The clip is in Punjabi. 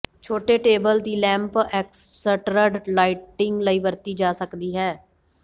ਛੋਟੇ ਟੇਬਲ ਦੀ ਲੈਂਪ ਐਕਸਟਰਡ ਲਾਈਟਿੰਗ ਲਈ ਵਰਤੀ ਜਾ ਸਕਦੀ ਹੈ